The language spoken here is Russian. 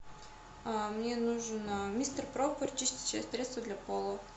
мне нужно мистер пропер чистящее средство для пола